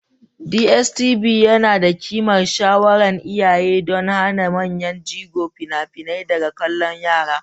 DSTV yana da ƙimar shawaran iyaye don hana manyan jigo fina-finai daga kallon yara.